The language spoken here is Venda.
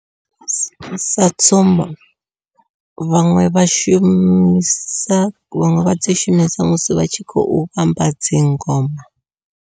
Sa tsumbo vhaṅwe vha shumisa vhaṅwe vha dzi shumisa musi vha tshi khou vhumba dzi ngoma.